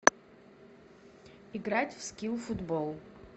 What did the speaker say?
играть в скилл футбол